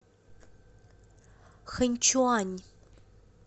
ханьчуань